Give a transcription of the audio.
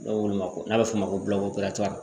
N'a ko n'a bɛ f'o ma ko